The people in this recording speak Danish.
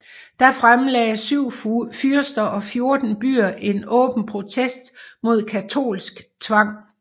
Da fremlagde syv fyrster og fjorten byer en åben protest mod katolsk tvang